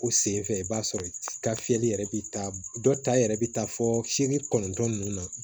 O senfɛ i b'a sɔrɔ i ka fiyɛli yɛrɛ bɛ taa dɔ ta yɛrɛ bɛ taa fɔ fiyɛli kɔnɔntɔn ninnu na